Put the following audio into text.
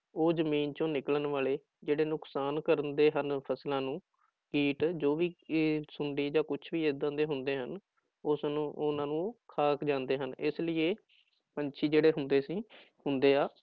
ਉਹ ਜ਼ਮੀਨ ਚੋਂ ਨਿਕਲਣ ਵਾਲੇ ਜਿਹੜੇ ਨੁਕਸਾਨ ਕਰਦੇ ਹਨ ਫ਼ਸਲਾਂ ਨੂੰ ਕੀਟ ਜੋ ਵੀ ਕੀਟ ਸੁੰਡੀ ਜਾਂ ਕੁਛ ਵੀ ਏਦਾਂ ਦੇ ਹੁੰਦੇ ਹਨ, ਉਸਨੂੰ ਉਹਨਾਂ ਨੂੰ ਖਾ ਜਾਂਦੇ ਹਨ, ਇਸ ਲਈ ਇਹ ਪੰਛੀ ਜਿਹੜੇ ਹੁੰਦੇ ਸੀ ਹੁੰਦੇ ਆ